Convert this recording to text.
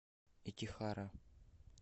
итихара